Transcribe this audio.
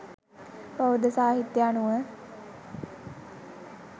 බෞද්ධ සාහිත්‍ය අනුව